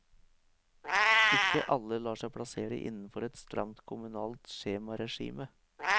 Ikke alle lar seg plassere innenfor et stramt kommunalt skjemaregime.